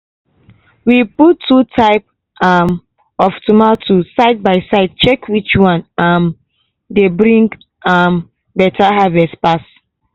we put two type um of tomato side by side check which one um dey bring um better harvest pass.